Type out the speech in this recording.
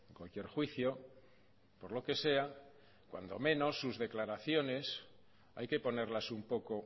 cualquier juicio por lo que sea cuando menos sus declaraciones hay que ponerlas un poco